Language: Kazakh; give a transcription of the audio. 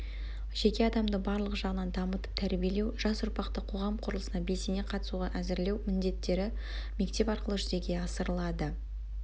жеке адамды барлық жағынан дамытып тәрбиелеу жас ұрпақты қоғам құрылысына белсене қатысуға әзірлеу міндеттері мектеп арқылы жүзеге асырылады